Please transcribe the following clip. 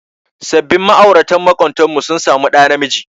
Sabin ma'aurata maƙotanmu sun samu ɗa namiji.